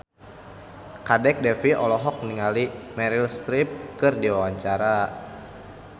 Kadek Devi olohok ningali Meryl Streep keur diwawancara